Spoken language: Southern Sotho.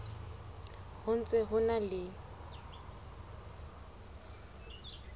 ho ntse ho na le